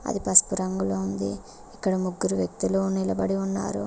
అది పసుపు రంగులో ఉంది ఇక్కడ ముగ్గురు వ్యక్తులు నిలబడి ఉన్నారు.